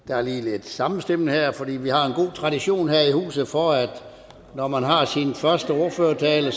der er lige lidt sammenstimlen her for vi har en god tradition her i huset for at når man har sin første ordførertale